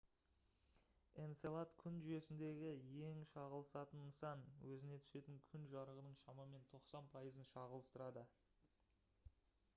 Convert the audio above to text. энцелад күн жүйесіндегі ең шағылысатын нысан өзіне түсетін күн жарығының шамамен 90 пайызын шағылыстырады